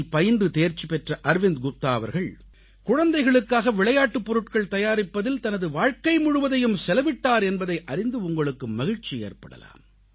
டியில் பயின்று தேர்ச்சி பெற்ற அர்விந்த் குப்தா அவர்கள் குழந்தைகளுக்காக விளையாட்டுப் பொருட்கள் தயாரிப்பதில் தனது வாழ்க்கை முழுவதையும் செலவிட்டார் என்பதை அறிந்து உங்களுக்கு மகிழ்ச்சி ஏற்படலாம்